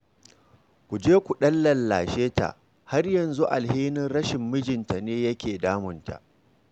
Ku je ku ɗan lallashe ta, har yanzu alhinin rashin mijinta ne yake damunta